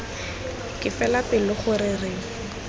ke fela pelo gore re